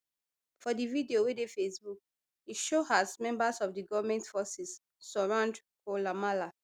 for di video wey dey facebook e show as members of di goment forces surround koulamallah